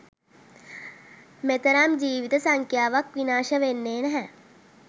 මෙතරම් ජීවිත සංඛ්‍යාවක් විනාශ වෙන්නේ නැහැ.